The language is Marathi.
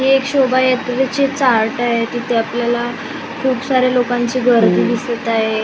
हि एक शोभा यात्रेची चार्ट आहे आपल्याला खूप साऱ्या लोकांची गर्दी दिसत आहे.